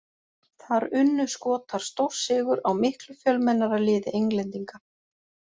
Þar unnu Skotar stórsigur á miklu fjölmennara liði Englendinga.